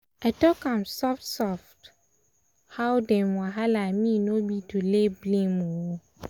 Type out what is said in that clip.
i talk am soft-soft am soft-soft how dem wahala me no be to lay blame-o.